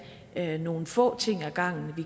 tage nogle få ting ad gangen